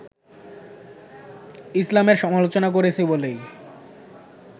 ইসলামের সমালোচনা করেছি বলেই